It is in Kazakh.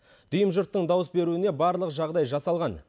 дүйім жұрттың дауыс беруіне барлық жағдай жасалған